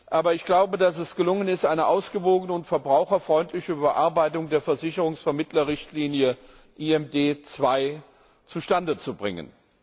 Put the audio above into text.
Aber es ist gelungen, eine ausgewogene und verbraucherfreundliche Überarbeitung der Versicherungsvermittler Richtlinie IMD2 zustande zu bringen.